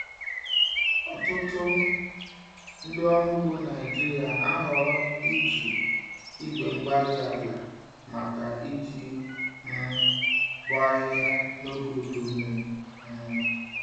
Ọtụtụ ndị ọrụ ugbo Naijiria na-ahọrọ iji igwe-mgbárí-ala màkà iji um bọọ ahịhịa n'oge udu mmiri um